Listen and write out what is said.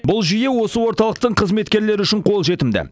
бұл жүйе осы орталықтың қызметкерлері үшін қолжетімді